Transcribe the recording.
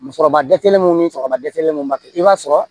Musokɔrɔba dɛsɛlenw ni kɔrɔba dɛsɛlenw ma kɛ i b'a sɔrɔ